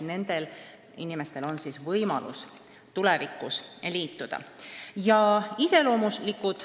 Nendel inimestel on siis võimalus tulevikus liituda.